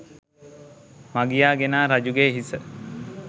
මගියා ගෙනා රජුගේ හිස